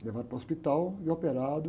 Levado para o hospital e operado.